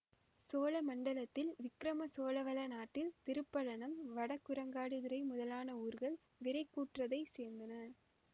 சோழமண்டலத்தில் விக்கிரம சோழவள நாட்டில் திருப்பழனம் வடகுரங்காடுதுறை முதலான ஊர்கள் விறைக் கூற்றத்தைச் சேர்ந்தன